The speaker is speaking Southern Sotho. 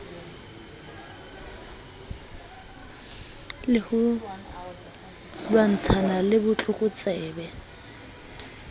le ho lwantshana le botlokotsebe